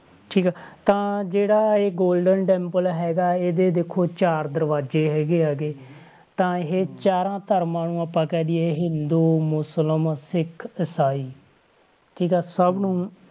ਠੀਕ ਆ ਤਾਂ ਜਿਹੜਾ ਇਹ golden temple ਹੈਗਾ ਇਹਦੇ ਦੇਖੋ ਚਾਰ ਦਰਵਾਜ਼ੇ ਹੈਗੇ ਆ ਗੇ ਤਾਂ ਇਹ ਚਾਰਾਂ ਧਰਮਾਂ ਨੂੰ ਆਪਾਂ ਕਹਿ ਦੇਈਏ ਹਿੰਦੂ, ਮੁਸਲਮ, ਸਿੱਖ, ਇਸਾਈ ਠੀਕ ਆ ਸਭ ਨੂੰ,